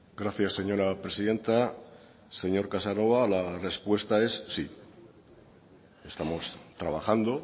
gracias señora presidenta señor casanova la respuesta es sí estamos trabajando